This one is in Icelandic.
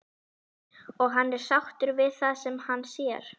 Og hann er sáttur við það sem hann sér.